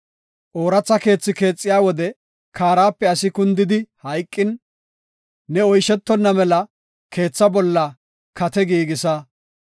Ooratha keethi keexiya wode kaarape asi kundi hayqin ne oyshetonna mela keetha bolla kate giigisa.